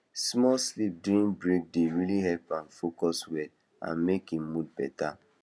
small sleep during break dey really help am focus well and make him mood better